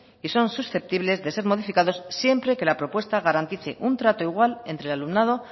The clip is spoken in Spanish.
y son susceptibles de ser modificados siempre que la propuesta garantice un trato igual entre alumnado